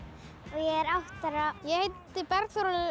er átta ára ég heiti Bergþór